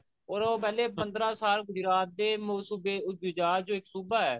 or ਉਹ ਪਹਿਲਾਂ ਪੰਦਰਾਂ ਸਾਲ ਗੁਜਰਾਤ ਦੇ ਸੂਬੇ ਗੁਜਰਾਤ ਜੋ ਇੱਕ ਸੂਬਾ ਐ